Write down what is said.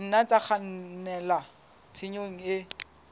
nna tsa kgannela tshenyong e